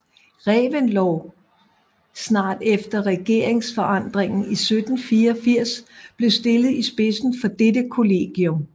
Reventlow snart efter regeringsforandringen i 1784 blev stillet i spidsen for dette kollegium